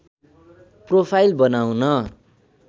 profile बनाउन